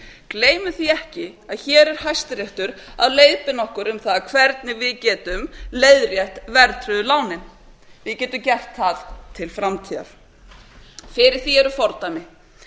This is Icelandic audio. gleymum því ekki að hér er hæstiréttur að leiðbeina okkur um það hvernig við getum leiðrétt verðtryggðu lánin við getum gert það til framtíðar fyrir því eru fordæmi